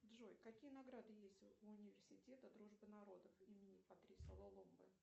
джой какие награды есть у университета дружбы народов имени патриса лумумбы